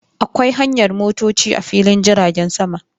Akwai hanyar motoci a filin jiragen sama.